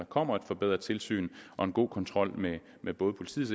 kommer et forbedret tilsyn og en god kontrol med med både politiets